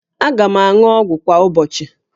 Aga m aṅụ ọgwụ kwa ụbọchị